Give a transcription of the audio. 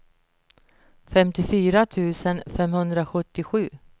femtiofyra tusen femhundrasjuttiosju